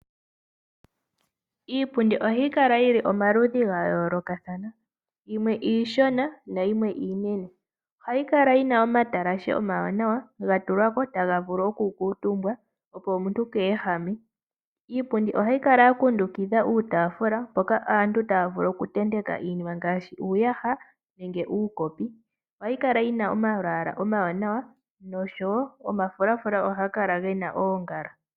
Iipundi ohayi kala yili omaludhi gayoolokathana yimwe iishona nayimwe iinene. Ohayi kala yina omatalashe omawanawa gatulwako tagavulu okukuutumbwa opo omuntu keehame. Iipundi ohayi kala yakundikidha iitaafula mpoka aantu tayavulu okutenteka iinima ngaashi, uuyaha nenge uukopi. Ohayi kala yina omalwaala omawanawa nosho wo omafulafula ohagakala gena oongala.